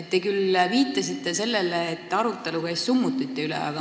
Te viitasite sellele, et oli arutelu summutite üle.